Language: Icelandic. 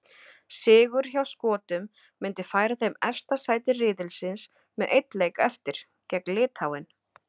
Sigur hjá Skotum myndi færa þeim efsta sæti riðilsins með einn leik eftir, gegn Litháen.